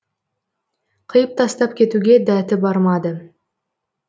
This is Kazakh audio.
қиып тастап кетуге дәті бармады